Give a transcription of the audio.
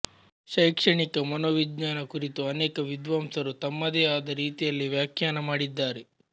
ಶೈಕ್ಷಣಿಕ ಮನೋವಿಜ್ಞಾನ ಕುರಿತು ಅನೇಕ ವಿದ್ವಾಂಸರು ತಮ್ಮದೇ ಆದ ರೀತಿಯಲ್ಲಿ ವಾಖ್ಯಾನ ಮಾಡಿದ್ದಾರೆ